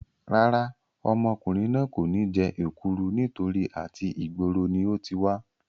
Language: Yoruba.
Rárá, ọmọkùnrin náà kò ní jẹ èkúru nítorí àti ìgboro ni ó ti wá